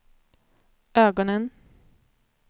ögonen